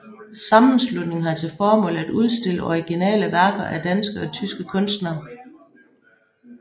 Sammenslutningen har til formål at udstille originale værker af danske og tyske kunstnere